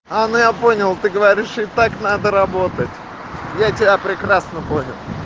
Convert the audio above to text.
она я понял ты говоришь и так надо работать я тебя прекрасно понял